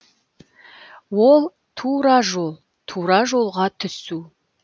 ол тура жол тура жолға түсу